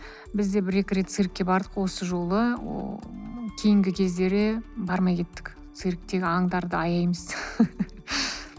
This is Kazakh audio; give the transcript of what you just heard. бізде бір екі рет циркке бардық осы жолы ыыы кейінгі кездері бармай кеттік цирктегі аңдарды аяймыз